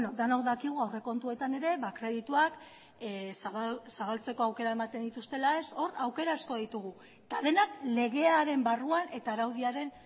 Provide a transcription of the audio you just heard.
denok dakigu aurrekontuetan ere kredituak zabaltzeko aukera ematen dituztela hor aukera asko ditugu eta denak legearen barruan eta araudiaren